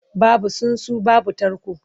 Babu tsuntsu babu tarko.